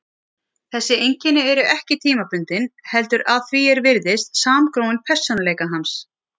Þessi einkenni eru ekki tímabundin heldur að því er virðist samgróin persónuleika hans.